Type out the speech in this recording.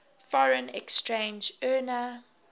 foreign exchange earner